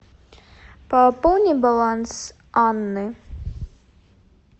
пополни баланс анны